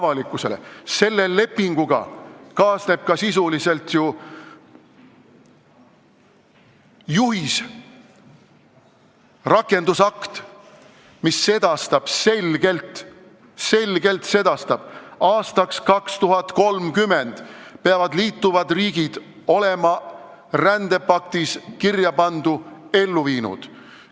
Vähe sellest, selle lepinguga kaasneb sisuliselt ju ka juhis, rakendusakt, mis sedastab selgelt, et aastaks 2030 peavad liituvad riigid olema rändepaktis kirjapandu ellu viinud.